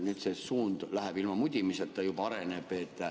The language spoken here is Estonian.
Nüüd see suund läheb, ilma mudimiseta juba areneb.